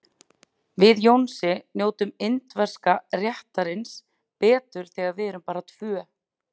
Við Jónsi njótum indverska réttarins betur þegar við erum bara tvö.